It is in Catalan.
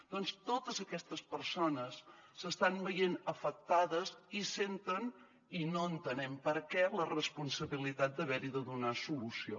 doncs totes aquestes persones s’estan veient afectades i senten i no entenem per què la responsabilitat d’haver hi de donar solució